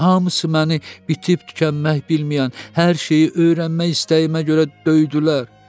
Hamısı məni bitib-tükənmək bilməyən, hər şeyi öyrənmək istəyimə görə döydülər.